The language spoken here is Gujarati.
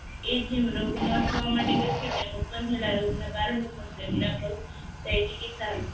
રોગમાં થવા માટે તેમાં ઉત્પન્ન થયેલા રોગોનું કારણ ચિકિત્સા